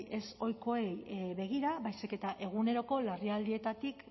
ez ohikoei begira baizik eta eguneroko larrialdietatik